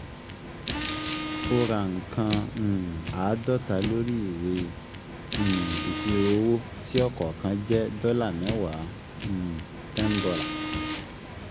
O ra nǹkàn um àádọ́ta lórí ìwé um ìṣirò owó tí ọ̀kọ̀ọ̀kan jẹ́ dọ́là mẹ́wàá um ($10).